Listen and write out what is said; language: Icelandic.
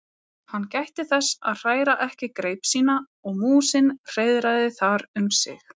Hann gætti þess að hræra ekki greip sína og músin hreiðraði þar um sig.